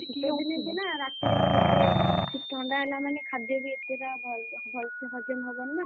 ହଁ ଶୀତ ଦିନେ ରାତିରେ ଆଉ ଏତେ ଥଣ୍ଡା ହେଲା ମାନେ ଖାଦ୍ୟ ବି ଏତେଟା ଭଲସେ ହଜମ ହବନି ନା,